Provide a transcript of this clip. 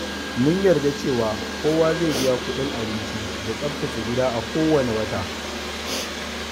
Mun yarda cewa kowa zai biya kuɗin abinci da tsaftace gida a kowane wata.